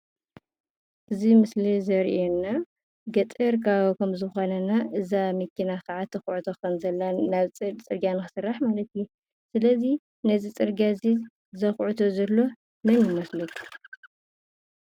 እዚ ምስሊ ዘርእየና ገጠር ከባቢ ከምዝኮነና እዛ መኪና ከዓ ትኩዕቶ ከምዘላን ፅርግያ ንክስራሕ ማለት እዩ፡፡ ስለዚ ነዚ ፅርግያ እዚ ዘኩዕቶ ዘሎ መን ይመስለኩም?